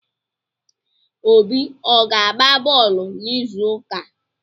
Obi ọ ga-agba bọọlụ n'izuụka a?